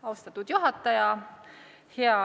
Austatud juhataja!